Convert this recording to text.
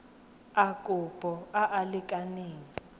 a kopo a a lekaneng